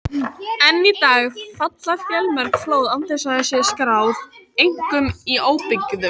Enn í dag falla fjölmörg flóð án þess að þau séu skráð, einkum í óbyggðum.